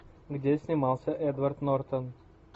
где снимался эдвард нортон